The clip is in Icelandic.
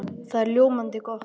Það er ljómandi gott!